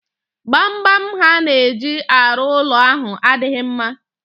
Gbamgbam ha na-eji arụ ụlọ ahụ adịghi mma